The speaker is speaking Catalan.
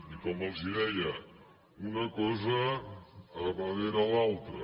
i com els deia una cosa darrere l’altra